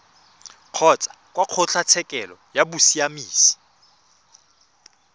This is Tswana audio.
kgotsa kwa kgotlatshekelo ya bosiamisi